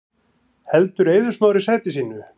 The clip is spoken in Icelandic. Heldur Eiður Smári sæti sínu